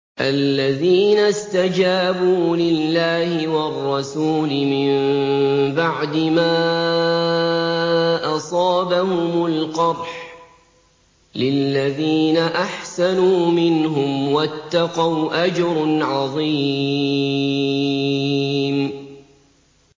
الَّذِينَ اسْتَجَابُوا لِلَّهِ وَالرَّسُولِ مِن بَعْدِ مَا أَصَابَهُمُ الْقَرْحُ ۚ لِلَّذِينَ أَحْسَنُوا مِنْهُمْ وَاتَّقَوْا أَجْرٌ عَظِيمٌ